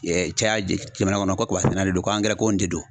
caya jamana kɔnɔ ko kaba sɛnɛnaw de don, ko angɛrɛ ko in de don .